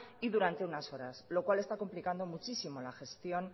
y durante unas horas lo cual está complicando muchísimo la gestión